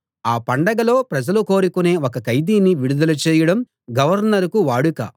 ఆ పండగలో ప్రజలు కోరుకొనే ఒక ఖైదీని విడుదల చేయడం గవర్నరుకు వాడుక